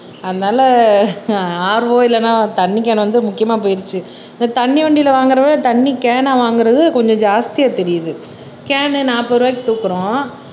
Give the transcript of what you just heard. அதனால RO இல்லனா தண்ணி கேன் வந்து முக்கியமா போயிடுச்சு இந்த தண்ணி வண்டியில் வாங்கறத விட தண்ணி கேனா வாங்கறது கொஞ்சம் ஜாஸ்தியா தெரியுது கேன் நாப்பது ரூபாய்க்கு தூக்குறோம்